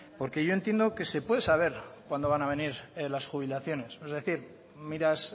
porque yo entiendo que se puede saber cuándo van a venir las jubilaciones es decir miras